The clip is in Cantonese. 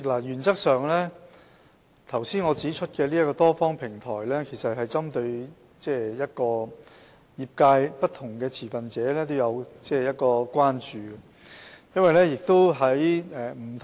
主席，我剛才指出的多方平台，原則上是針對業界不同持份者的關注。